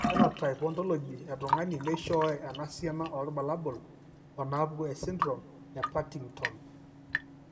Ore ephenotype ontology etung'ani neishooyo enasiana oorbulabul onaapuku esindirom ePartington.